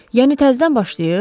Yəni təzdən başlayır?